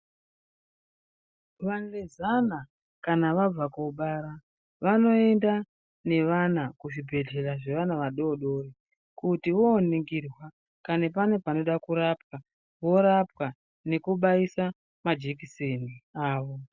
Vanjezana kana kana vabva kobara vanoenda nevana kuzvibhehlera vanofanirwa kupetuka nevana vachiningirwa kuti varikungwarirwa zvakanaka ere uye nekubaisa majekiseni avo.